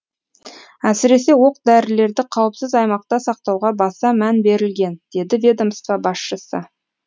әсіресе оқ дәрілерді қауіпсіз аймақта сақтауға баса мән берілген деді ведомство басшысы